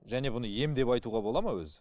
және бұны ем деп айтуға бола ма өзі